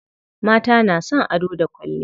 Mata na son ado da kwalliya.